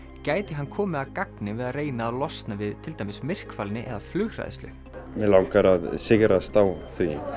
gæti hann komið að gagni við að reyna að losna við til dæmis myrkfælni eða flughræðslu mig langar að sigrast á